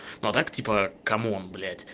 ну а так типа кому он блять